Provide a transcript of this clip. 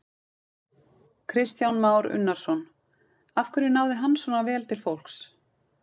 Kristján Már Unnarsson: Af hverju náði hann svona vel til fólks?